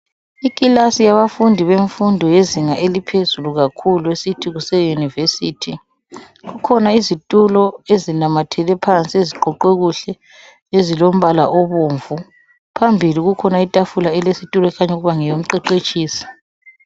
Ikilasi yabafundi bemfundo yezinga eliphezulu kakhulu esithi kuse university. Kukhona izitulo ezinamathele phansi eziqoqwe kuhle ezilombala obomvu phambili kukhona itafula elesitulo ekhanya ukuthi ngeyomqeqetshisi.